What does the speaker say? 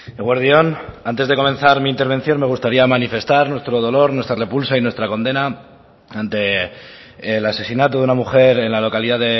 eguerdi on antes de comenzar mi intervención me gustaría manifestar nuestro dolor nuestra repulsa y nuestra condena ante el asesinato de una mujer en la localidad